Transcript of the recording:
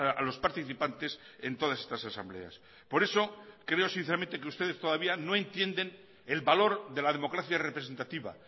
a los participantes en todas estas asambleas por eso creo sinceramente que ustedes todavía no entienden el valor de la democracia representativa